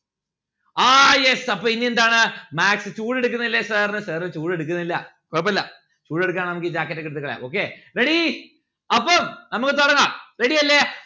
ആ yes അപ്പൊ ഇനി എന്താണ് maths ചൂട് എടുക്കണില്ലേ sir ന്? sir ന് ചൂട് എടുക്കണില്ല കൊഴപ്പില്ല ചൂട് എടുക്കാണേൽ നമ്മുക്ക് ഈ jacket ഒക്കെ എടുത്ത് കളയാം okay. ready? അപ്പം നമ്മുക്ക് തുടങ്ങാം? ready അല്ലെ